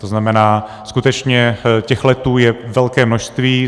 To znamená, skutečně těch letů je velké množství.